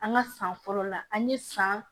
An ka san fɔlɔ la an ye san